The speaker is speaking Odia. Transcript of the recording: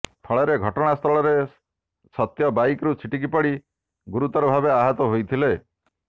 ଫଳରେ ଘଟଣାସ୍ଥଳରେ ସତ୍ୟ ବାଇକ୍ରୁ ଛଟିକି ପଡ଼ି ଗୁରୁତର ଭାବେ ଆହତ ହୋଇଥିଲେ